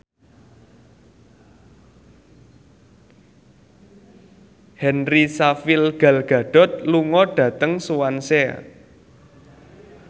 Henry Cavill Gal Gadot lunga dhateng Swansea